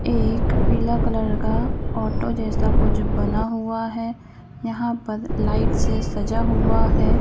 एक पीला कलर का ऑटो जैसा कुछ बना हुआ है यहां पर लाइट से सजा हुआ है ।